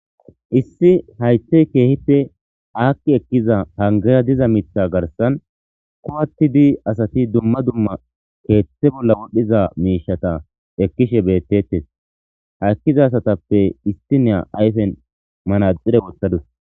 Issi haytey keehipe aakki ekkiza hangaya diza mitha garsan kowattidi asati dumma dumma keeththe bolla wodhdhiza miishata ekkishe bettettes ha ekkiza asatappe istineya ayfen manaxire wottadus.